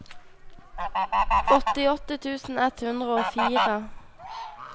åttiåtte tusen ett hundre og fire